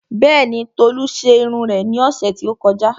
Bẹ́ẹ̀ni, Tolu ṣe irun rẹ̀ ní ọ̀sẹ̀ tí ó kọjá